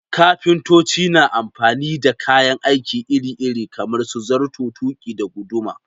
Kafintoci na amfani da kayan aiki iri-iri kamar su zarto, tuƙi, da guduma.